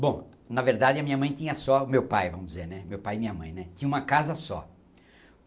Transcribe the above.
Bom, na verdade a minha mãe tinha só, meu pai vamos dizer, né, meu pai e minha mãe né, tinha uma casa só.